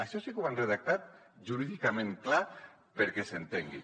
això sí que ho han redactat jurídicament clar perquè s’entengui